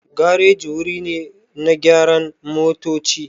Gareji wuri ne na gyaran motoci.